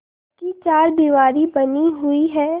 पक्की चारदीवारी बनी हुई है